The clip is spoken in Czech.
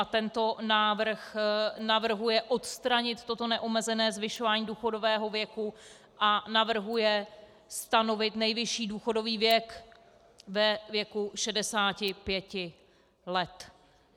A tento návrh navrhuje odstranit toto neomezené zvyšování důchodového věku a navrhuje stanovit nejvyšší důchodový věk ve věku 65 let.